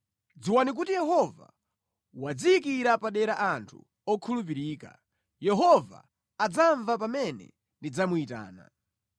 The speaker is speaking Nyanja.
Dziwani kuti Yehova wadziyikira padera anthu okhulupirika; Yehova adzamva pamene ndidzamuyitana.